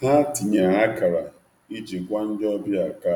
Ha tinyere akara na-agwa ndị ọ na-ebebebeba ka